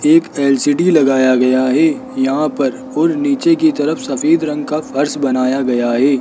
एक एल_सी_डी लगाया गया है यहां पर और नीचे की तरफ सफेद रंग का फर्श बनाया गया है।